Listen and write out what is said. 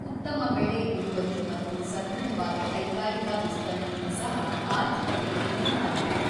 ಉತ್ತಮ ಬೆಳೆ ಇಳುವರಿ ಮತ್ತು ಸದೃಢವಾದ ಕೈಗಾರಿಕಾ ವಿಸ್ತರಣೆಯೂ ಸಹ ಆರ್ಥಿಕತೆಗೆ ನೆರವಾಯಿತು.